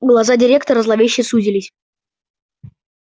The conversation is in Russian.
глаза директора зловеще сузились